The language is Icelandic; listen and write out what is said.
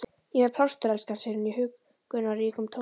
Ég er með plástur, elskan, segir hún í huggunarríkum tóni.